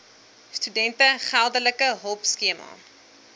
studente geldelike hulpskema